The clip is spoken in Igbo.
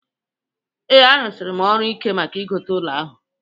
Ee, arụsiri m ọrụ ike maka ịgote ụlọ ahụ